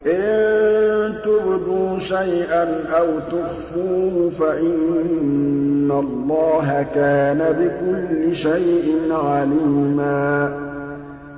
إِن تُبْدُوا شَيْئًا أَوْ تُخْفُوهُ فَإِنَّ اللَّهَ كَانَ بِكُلِّ شَيْءٍ عَلِيمًا